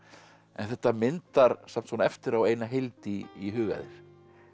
en þetta myndar samt svona eftir á eina heild í huga þér